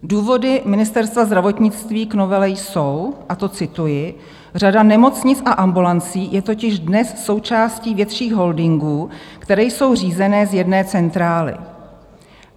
Důvody Ministerstva zdravotnictví k novele jsou - a to cituji: "Řada nemocnic a ambulancí je totiž dnes součástí větších holdingů, které jsou řízeny z jedné centrály.